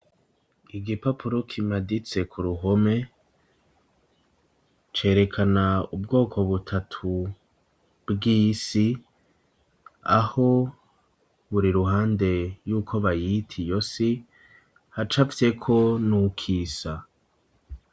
Igipapuro kimaditse ku ruhome, cerekana ubwoko butatu bw'isi, aho buri ruhande yuko bayita iyo si, hacafyeko n'uko isa.